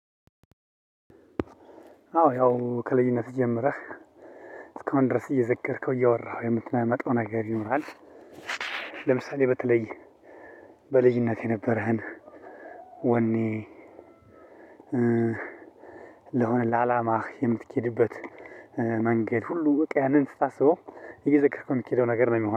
አዎ ያው ከልዩነት ጀምረህ እስካሁን ድርስ እየዘገርከው እያወራኸው የምትመጣው ነገር ይኖራል። ለምሳሌ በተለይ በልጅነቴ የነበረህን ወኔ። ለሆነ ላላማህ የምቴድበት መንገድ ሁሉ በቃ ያንን ስታስበው እየዘከርከው የምኬደው ነገር ነው ምኮነው